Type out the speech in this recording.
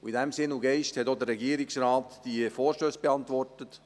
In dem Sinn und Geist hat auch der Regierungsrat die Vorstösse beantwortet.